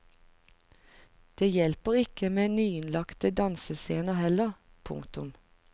Det hjelper ikke med nyinnlagte dansescener heller. punktum